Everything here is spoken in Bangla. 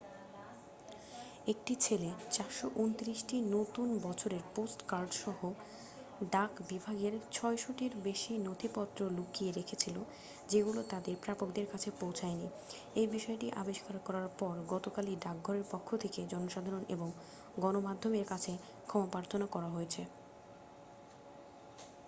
একটি ছেলে 429টি নতুন বছরের পোস্টকার্ড সহ ডাকবিভাগের 600 টিরও বেশি নথিপত্র লুকিয়ে রেখেছিল যেগুলো তাদের প্রাপকদের কাছে পৌঁছায়নি এই বিষয়টি আবিষ্কার করার পর গতকালই ডাকঘরের পক্ষ থেকে জনসাধারণ এবং গণমাধ্যমের কাছে ক্ষমাপ্রার্থনা করা হয়েছে